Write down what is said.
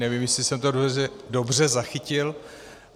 Nevím, jestli jsem to dobře zachytil.